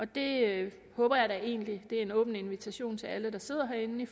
det jeg håber da egentlig det er en åben invitation til alle der sidder herinde